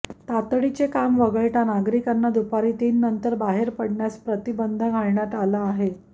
तातडीचे काम वगळता नागरिकांना दुपारी तीननंतर बाहेर पडण्यास प्रतिबंध घालण्यात आला आहे